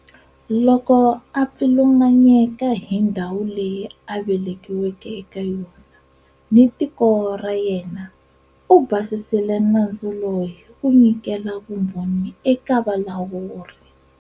Loko a pfilunganyeka hi ndhawu leyi a velekiweke eka yona ni tiko ra yena, u basisile nandzu lowu hi ku nyikela vumbhoni eka valawuri.